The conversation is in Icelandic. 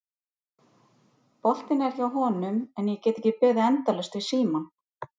Boltinn er hjá honum en ég get ekki beðið endalaust við símann.